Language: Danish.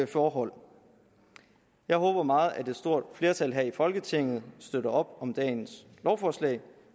forhold jeg håber meget at et stort flertal her i folketinget støtter op om dagens lovforslag